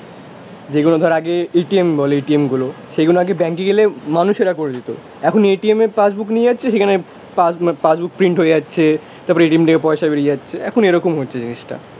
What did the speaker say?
যেগুলো ধর আগে এটিএম বলে এটিএম গুলো, সেগুলো আগে ব্যাঙ্কে গেলে মানুষেরা করে দিত, এখন এটিএম এ পাসবুক নিয়ে যাচ্ছে সেখানে পাস পাসবুক প্রিন্ট হয়ে যাচ্ছে, তারপরে এটিএম থেকে পয়সা বেরিয়ে যাচ্ছে, এখন এরকম হচ্ছে জিনিসটা